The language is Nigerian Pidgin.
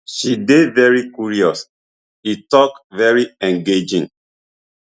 she dey very curious e tok very engaging